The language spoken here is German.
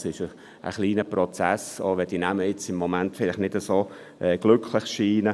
Das ist ein kleiner Prozess, auch wenn diese Namen im Moment vielleicht nicht so glücklich scheinen.